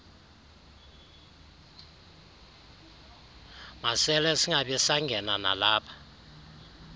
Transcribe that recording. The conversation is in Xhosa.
masele singabisangena nalapha